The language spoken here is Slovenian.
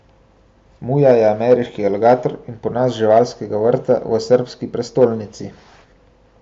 Muja je ameriški aligator in ponos živalskega vrta v srbski prestolnici.